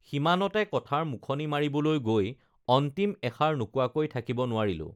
সিমানতে কথাৰ মুখনি মাৰিবলৈ গৈ অন্তিম এষাৰ নোকোৱাকৈ থাকিব নোৱাৰিলোঁ